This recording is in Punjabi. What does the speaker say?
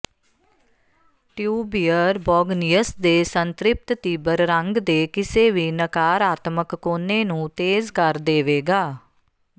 ਟਿਊਬਿਅਰ ਬੌਗਨੀਅਸ ਦੇ ਸੰਤ੍ਰਿਪਤ ਤੀਬਰ ਰੰਗ ਦੇ ਕਿਸੇ ਵੀ ਨਕਾਰਾਤਮਕ ਕੋਨੇ ਨੂੰ ਤੇਜ਼ ਕਰ ਦੇਵੇਗਾ